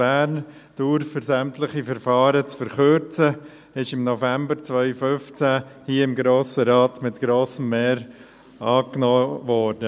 Bern: Dauer für sämtliche Verfahren verkürzen» wurde im November 2015 hier im Grossen Rat mit grossem Mehr angenommen.